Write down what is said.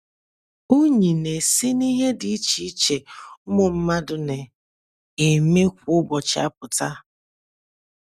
Unyí na - esi n’ihe dị iche iche ụmụ mmadụ na - eme kwa ụbọchị apụta.